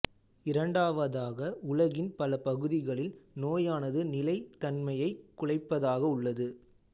இரண்டாவதாக உலகின் பல பகுதிகளில் நோயானது நிலைத்தன்மையைக் குலைப்பதாக உள்ளது